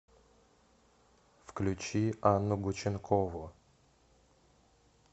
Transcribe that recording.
включи анну гученкову